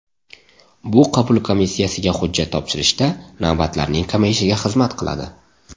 Bu qabul komissiyasiga hujjat topshirishda navbatlarning kamayishiga xizmat qiladi.